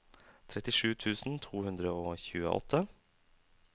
trettisju tusen to hundre og tjueåtte